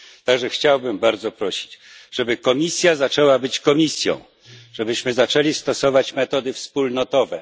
W związku z tym chciałbym bardzo prosić, żeby Komisja zaczęła być Komisją, żebyśmy zaczęli stosować metody wspólnotowe.